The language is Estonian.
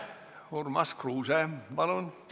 Urmas Kruuse, palun!